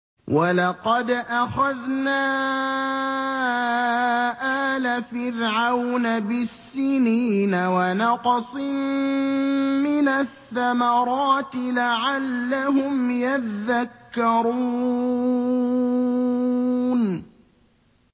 وَلَقَدْ أَخَذْنَا آلَ فِرْعَوْنَ بِالسِّنِينَ وَنَقْصٍ مِّنَ الثَّمَرَاتِ لَعَلَّهُمْ يَذَّكَّرُونَ